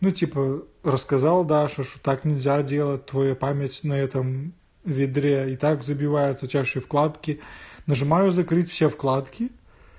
ну типа рассказал даше что так нельзя делать твоя память на этом ведре и так забивается у тебя ещё и вкладки нажимаю закрыть все вкладки